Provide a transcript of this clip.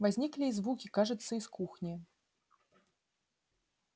возникли и звуки кажется из кухни